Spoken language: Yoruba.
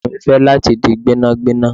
Ọmọ mi fẹ lati di gbénàgbénà